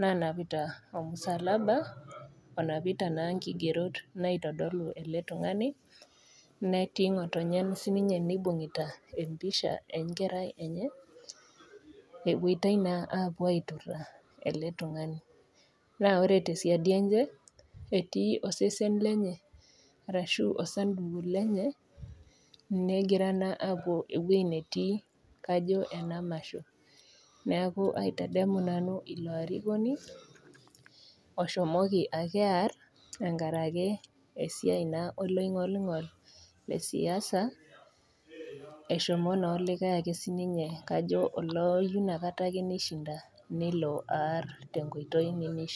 nanapita omusalaba onapita naa inkigerot naitodolu ele tung'ani netii ng'otonye sininye neibung'ita empisha enkerai enye epuoitai naa apuo aiturra ele tung'ani naa ore tesiadi enche etii osesen lenye arashu osanduku lenye negira naa apuo ewueji netii kajo ena masho neaku aitadamu nanu ilo arikoni oshomoki ake arr enkarake esiai naa oloing'olingol le siasa[c eshomo naa olikae ake sininye kajo olooyu nakata ake nishinda nelo arr tenkoitoi nemishia.